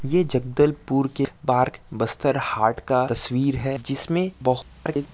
ये जगदलपुर के पार्क बस्तर हाट का तस्वीर हैं जिसमे बोहत सारे--